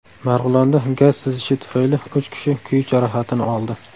Marg‘ilonda gaz sizishi tufayli uch kishi kuyish jarohatini oldi.